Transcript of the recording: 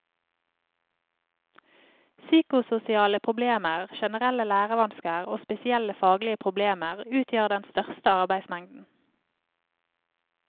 Psykososiale problemer, generelle lærevansker og spesielle faglige problemer utgjør den største arbeidsmengden.